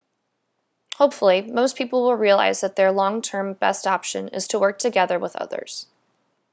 hopefully most people will realise that their long term best option is to work together with others